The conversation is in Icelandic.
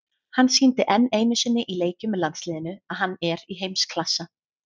Hann sýndi enn einu sinni í leikjum með landsliðinu að hann er í heimsklassa.